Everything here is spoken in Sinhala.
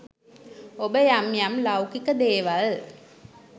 ඔබ යම් යම් ලෞකික දේවල්